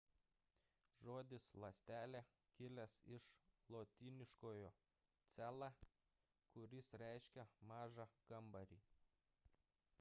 žodis ląstelė kilęs iš lotyniškojo cella kuris reiškia mažą kambarį